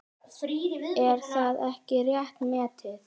Er það ekki rétt metið?